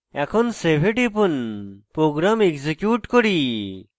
এখন save এ টিপুন প্রোগ্রাম এক্সিকিউট করি